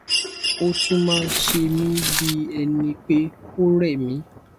ó tún máa ń se mí bí ẹni pé ó rẹ mí